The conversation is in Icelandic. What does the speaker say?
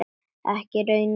Ekki í raun og veru.